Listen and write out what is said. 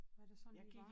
Hvad der sådan lige var